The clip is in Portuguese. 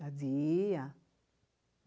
Havia.